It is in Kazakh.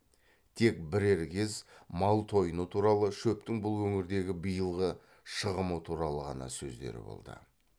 тек бірер кез мал тойыны туралы шөптің бұл өңірдегі биылғы шығымы туралы ғана сөздері болды